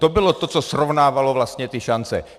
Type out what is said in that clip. To bylo to, co srovnávalo vlastně ty šance.